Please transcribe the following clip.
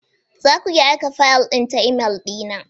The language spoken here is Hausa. Za ku iya aika fayil ɗin ta imel na?